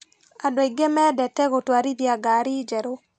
Andũ aingĩ mendete gũtwarithia ngari njerũ.